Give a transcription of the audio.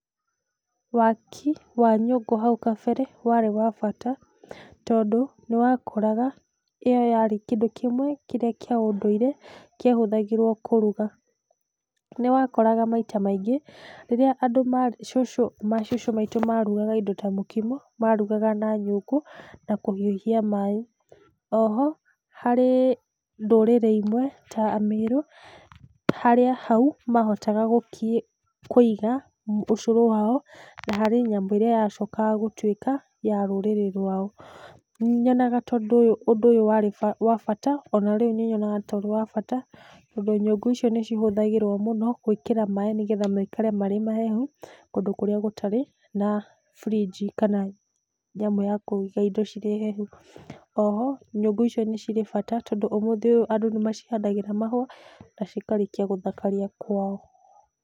Waki wa nyũngũ hau kambere warĩ wa bata tondũ nĩ wakoraga ĩyo yarĩ kĩndũ kĩmwe kĩrĩa kĩa ũndũire kĩahũthagĩrwo kũruga. Nĩ wakoraga maita maingĩ rĩrĩa andũ cũcũ macũcũ maĩtũ marugaga indo ta mũkimo marugaga na nyũngũ na kũhiũhia maaĩ, o ho harĩ ndũrĩrĩ imwe ta amĩrũ harĩa hau mahotaga kũiga ũcũrũ wao na harĩ nyamũ ĩrĩa yacokaga gũtuĩka ya rũrĩrĩ rwao. Nĩnyona ũndũ ũyũ warĩ wa bata o na rĩu nĩnyonaga ũrĩ wa bata tondũ nyũngũ icio nĩcihũthagĩrwo mũno gwĩkĩra maaĩ nĩgetha maikare marĩ mahehu kũndũ kũrĩa gũtarĩ na fridge kana nyamũ ya kũiga indo cirĩ hehu. O ho nyũngũ icio nĩcirĩbata tondũ ũmũthĩ ũyũ andũ nĩ macihandagĩra mahũa na cikarĩkia gũthakaria kwao.